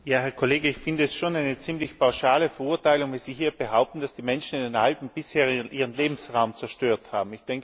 Herr Kollege, ich finde es schon eine ziemlich pauschale Verurteilung, wenn Sie hier behaupten, dass die Menschen in den Alpen bisher ihren Lebensraum zerstört haben.